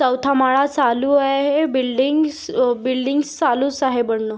चोथा माला चालू आहे है बिल्डीग्स बिल्डीग्स चालूच आहे बनन.